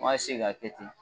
An b'a k'a kɛ ten